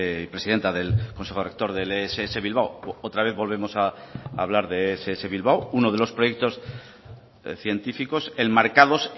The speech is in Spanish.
y presidenta del consejo rector del ess bilbao otra vez volvemos a hablar de ess bilbao uno de los proyectos científicos enmarcados